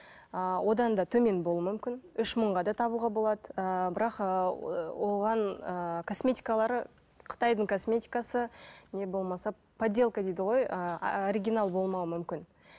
ыыы одан да төмен болуы мүмкін үш мыңға да табуға болады ыыы бірақ ыыы оған ыыы косметикалары қытайдың косметикасы не болмаса подделка дейді ғой ыыы оригинал болмауы мүмкін